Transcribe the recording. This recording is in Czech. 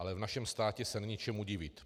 Ale v našem státě se není čemu divit.